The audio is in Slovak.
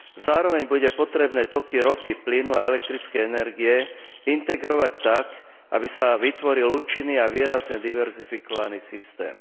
Zároveň bude potrebné toky ropy, plynu a elektrickej energie integrovať tak, aby sa vytvoril účinný a výrazne diverzifikovaný systém.